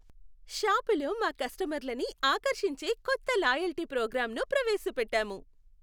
షాపులో మా కస్టమర్లని ఆకర్షించే కొత్త లాయల్టీ ప్రోగ్రామ్ను ప్రవేశపెట్టాము.